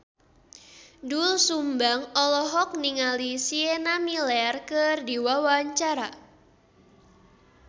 Doel Sumbang olohok ningali Sienna Miller keur diwawancara